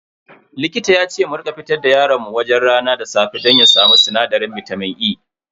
Likita yace mu rika fitar da yaron mu wajen rana da safe don ya samu sinadarin bitamin E.